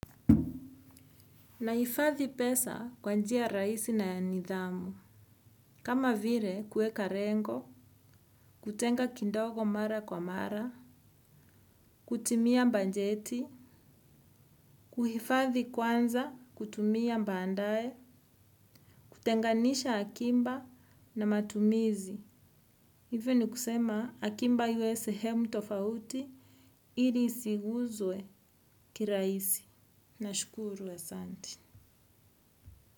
Na hifadhi pesa kwa njia rahisi na ya nidhamu. Kama vile kueka lengo, kutenga kidogo mara kwa mara, kutumia banjeti, kuhifadhi kwanza kutumia baadae, kutenganisha akiba na matumizi. Hivyo ni kusema akiba iwe sehemu tofauti ili isiguzwe kirahisi. Nashukuru asanti.